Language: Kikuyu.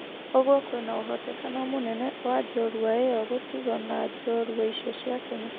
Ũguo kwina ũhotekano mũnene wa jorua iyo gũtigo na njorua icio cia Kenya.